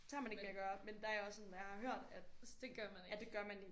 Så har man ikke mere at gøre. Men der er jeg også sådan når jeg har hørt at at det gør man ikke